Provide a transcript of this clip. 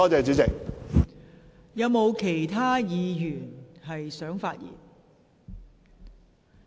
是否有其他議員想發言？